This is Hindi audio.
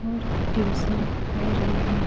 और ट्यूशन पढ़ रहे है।